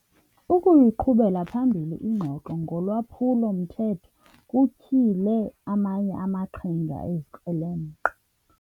Ukuyiqhubela phambili ingxoxo ngolwaphulo-mthetho kutyhile amanye amaqhinga ezikrelemnqa.